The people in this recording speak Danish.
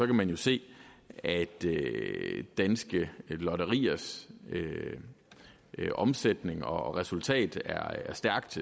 man jo se at danske lotteriers omsætning og resultat er stærkt